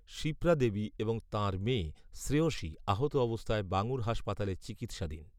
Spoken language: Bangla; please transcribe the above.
শিপ্রাদেবী এবং তাঁর মেয়ে শ্রেয়সী আহত অবস্থায় বাঙুর হাসপাতালে চিকিৎসাধীন